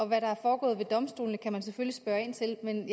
hvad der er foregået ved domstolene kan man selvfølgelig spørge ind til men